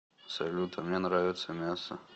салют а мне нравится мясо